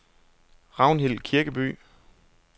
Ragnhild Kirkeby